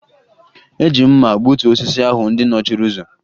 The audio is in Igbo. Eji m mma gbutuo osisi ndị ahụ nọchiri ụzọ